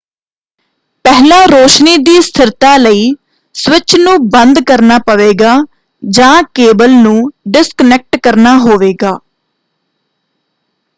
ਪਹਿਲਾਂ ਰੌਸ਼ਨੀ ਦੀ ਸਥਿਰਤਾ ਲਈ ਸਵਿੱਚ ਨੂੰ ਬੰਦ ਕਰਨਾ ਪਵੇਗਾ ਜਾਂ ਕੇਬਲ ਨੂੰ ਡਿਸਕਨੈਕਟ ਕਰਨਾ ਹੋਵੇਗਾ।